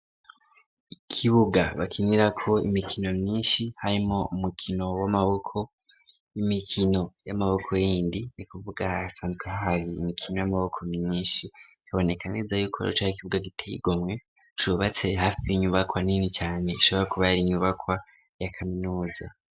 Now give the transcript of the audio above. Ikibuga bakinira ko imikino myinshi harimwo umukino w'amaboko, imikino y'amaboko yindi ni kuvuga hasanzwe hahari imikino y'amaboko myinshi bikaboneka neza y'uko cari ikibuga giteye igomwe cubatse hafi y'inyubakwa nini cane ishobora kuba yari inyubakwa ya kaminuza.